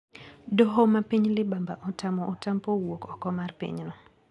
Doho mapiny libamba otamo Otampo wuok oko mar pinyno.